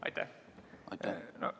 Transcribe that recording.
Aitäh!